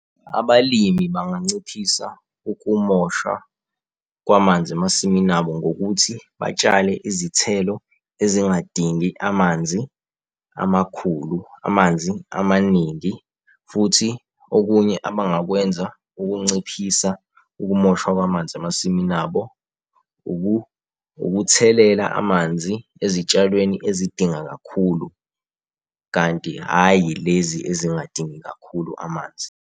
Abalimi banganciphisa ukumosha kwamanzi emasimini abo ngokuthi batshale izithelo ezingadingi amanzi amakhulu, amanzi amaningi. Futhi okunye abangakwenza ukunciphisa ukumoshwa kwamanzi emasimini abo, ukuthelela amanzi ezitshalweni ezidinga kakhulu kanti hhayi lezi ezingadingi kakhulu amanzi.